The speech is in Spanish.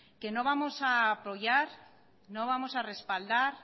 que no vamos a apoyar no vamos a respaldar